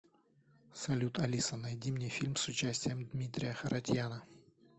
салют алиса найди мне фильм с участием дмитрия харатьяна